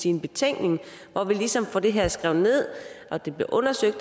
en betænkning hvor vi ligesom får det her skrevet ned og det bliver undersøgt